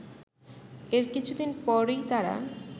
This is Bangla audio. এর কিছুদিন পরই তারা